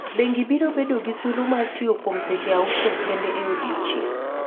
Bengi biro bedo gi thuolo mar tiyo kuom seche auchiel kende e odiechieng'.